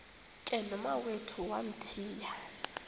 ke nomawethu wamthiya